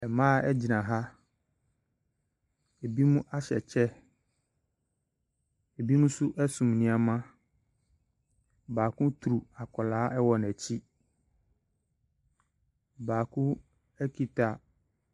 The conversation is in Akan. Mmaa egyina ha . Ebinom ahyɛ kyɛ, ebinom ɛnso ɛso nnoɔma. Baako turu akwadaa wɔ n'akyi. Baako ekita.